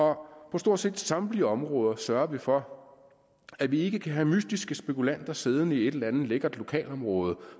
på stort set samtlige områder sørger vi for at vi ikke kan have mystiske spekulanter siddende i et eller andet lækkert lokalområde